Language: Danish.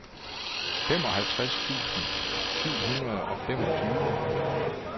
femoghalvtreds tusind syv hundrede og femogtyve